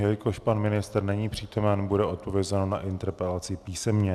Jelikož pan ministr není přítomen, bude odpovězeno na interpelaci písemně.